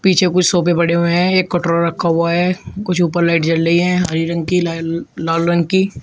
पीछे कुछ सोफे पड़े हुए हैं एक कटोरा रखा हुआ है कुछ ऊपर लाइट जल रही हैं हरे रंग की लाल रंग की।